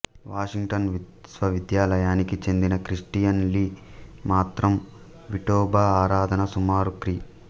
Washington విశ్వవిద్యాలయానికి చెందిన Christian Lee మాత్రం విఠోబా ఆరాధన సుమారు క్రీ